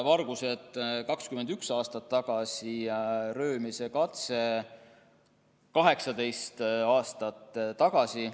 Vargused olid toime pandud 21 aastat tagasi ja röövimise katse 18 aastat tagasi.